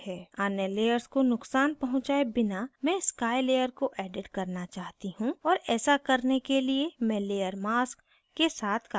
अन्य layers को नुकसान पहुँचाए बिना मैं sky layer को edit करना चाहती हूँ और ऐसा करने के लिए मैं layer mask के साथ कार्य करती हूँ